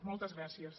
moltes gràcies